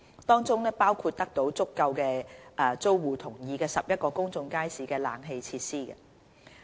當中包括為得到足夠租戶同意的11個公眾街市安裝冷氣設施。